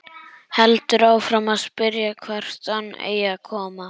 Heldur áfram að spyrja hvert hann eigi að koma.